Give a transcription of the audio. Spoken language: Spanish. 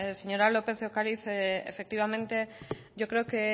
señora lópez de ocariz efectivamente yo creo que